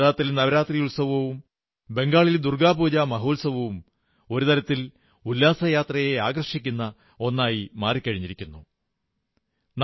ഗുജറാത്തിൽ നവരാത്രി ഉത്സവവും ബംഗാളിൽ ദുർഗ്ഗാ പൂജാ മഹോത്സവവും ഒരു തരത്തിൽ ഉല്ലാസയാത്രയെ ആകർഷിക്കുന്ന ഒന്നായി മാറിക്കഴിഞ്ഞിരിക്കുന്നു എന്നു കാണാൻ കഴിയും